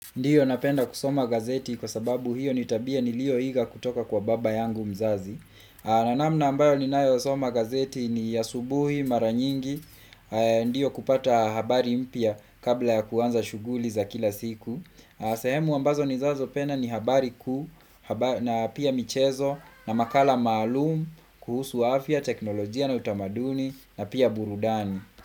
Ndiyo napenda kusoma gazeti kwa sababu hiyo ni tabia nilioiga kutoka kwa baba yangu mzazi na namna ambayo ninayosoma gazeti ni asubuhi mara nyingi Ndiyo kupata habari mpya kabla ya kuanza shughuli za kila siku sehemu ambazo ninazopenda ni habari kuu, na pia michezo, na makala maalum, kuhusu afya, teknolojia na utamaduni na pia burudani.